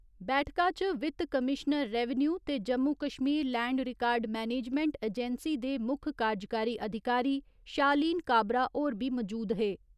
बैठका च वित्त कमीश्नर रैवेन्यु ते Jammu Kashmir land record management agency दे मुक्ख कार्जकारी अधिकारी शालीन काबरा होर बी मजूद हे।